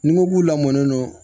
Ni n ko k'u lamɔnen don